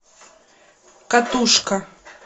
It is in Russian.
катушка